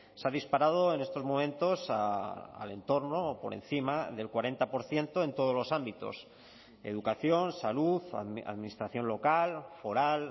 se ha disparado en estos momentos al entorno o por encima del cuarenta por ciento en todos los ámbitos educación salud administración local foral